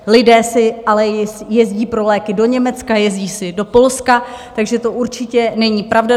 Lidé si ale jezdí pro léky do Německa, jezdí si do Polska, takže to určitě není pravda.